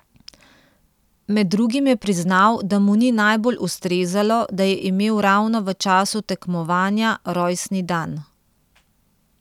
Med drugim je priznal, da mu ni najbolj ustrezalo, da je imel ravno v času tekmovanja rojstni dan.